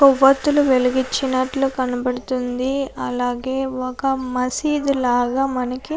కొవ్వొత్తులు వెలిగించినట్లు కనబడుతుంది అలాగే ఒక మసీదులాగా మనక --